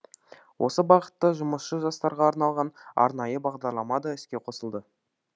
осы бағытта жұмысшы жастарға арналған арнайы бағдарлама да іске қосылды